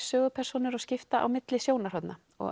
sögupersónur og skipta á milli sjónarhorna